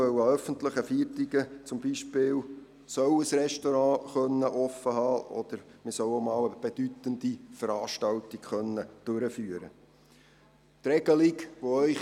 Denn es soll für ein Restaurant möglich sein, an öffentlichen Feiertagen geöffnet zu haben, und es soll auch möglich sein, einmal eine bedeutende Veranstaltung durchführen zu können.